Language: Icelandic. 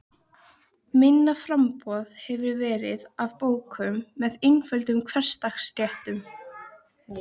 Minna framboð hefur verið af bókum með einföldum hversdagsréttum.